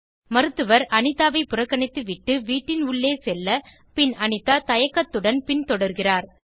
மருத்துவர் அனிதாவை புறக்கணித்துவிட்டு வீட்டின் உள்ளே செல்ல பின் அனிதா தயக்கத்துடன் பின்தொடர்கிறார்